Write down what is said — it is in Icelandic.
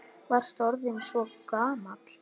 Varst orðinn svo gamall.